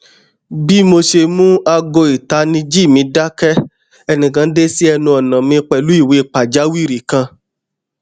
bi mo ṣe mu aago itaniji mi dakẹ ẹnikan de si ẹnu ọna mi pẹlu iwe pajawiri kan